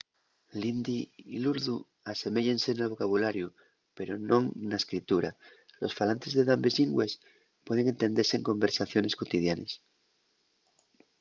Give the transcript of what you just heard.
l'hindi y l'urdu aseméyense nel vocabulariu pero non na escritura los falantes de dambes llingües pueden entendese en conversaciones cotidianes